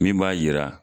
Min b'a yira